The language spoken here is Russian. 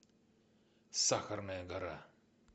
сахарная гора